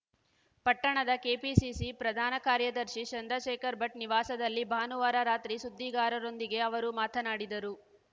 ಪಟ್ಟಣದ ಕೆಪಿಸಿಸಿ ಪ್ರದಾನಕಾರ್ಯದರ್ಶಿ ಚಂದ್ರಶೇಖರಭಟ್‌ ನಿವಾಸದಲ್ಲಿ ಭಾನುವಾರ ರಾತ್ರಿ ಸುದ್ದಿಗಾರರೊಂದಿಗೆ ಅವರು ಮಾತನಾಡಿದರು